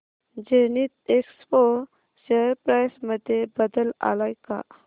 Zenith Expo share price मध्ये बदल आलाय का